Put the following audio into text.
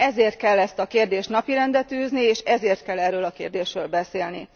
Ezért kell ezt a kérdést napirendre tűzni, és ezért kell erről a kérdésről beszélni.